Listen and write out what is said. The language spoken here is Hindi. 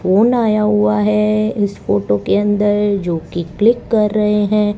फोन आया हुआ है इस फोटो के अंदर जो कि क्लिक कर रहे हैं।